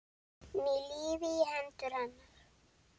Ný lífi í hendur hennar.